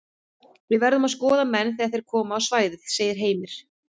Við verðum að skoða menn þegar þeir koma á svæðið segir Heimir.